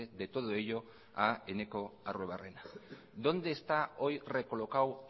de todo ello a eneko arruebarrena dónde está hoy recolocado